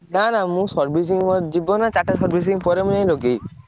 ନା ନା ମୁଁ servicing ମୋର ଯିବନା ଚାରିଟା servicing ପରେ ମୁଁ ଯାଇକି ଲଗେଇବି।